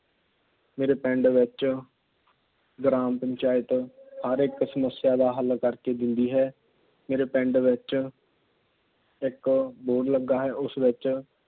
ਮੇਰੇ ਪਿੰਡ ਵਿੱਚ ਗ੍ਰਾਮ ਪੰਚਾਇਤ ਹਰ ਇੱਕ ਸਮੱਸਿਆ ਦਾ ਹੱਲ ਕਰ ਕੇ ਦਿੰਦੀ ਹੈ। ਮੇਰੇ ਪਿੰਡ ਵਿੱਚ ਇੱਕ ਬੋਹੜ ਲੱਗਾ ਹੈ। ਉਸ ਵਿੱਚ